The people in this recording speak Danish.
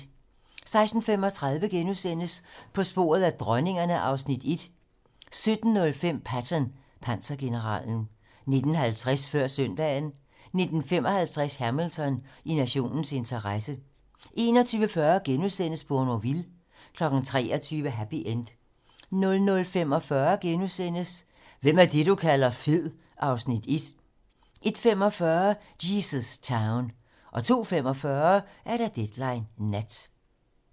16:35: På sporet af dronningerne (Afs. 1)* 17:05: Patton - pansergeneralen 19:50: Før søndagen 19:55: Hamilton: I nationens interesse 21:40: Bournonville * 23:00: Happy End 00:45: Hvem er det, du kalder fed? (Afs. 1)* 01:45: Jesus Town 02:45: Deadline nat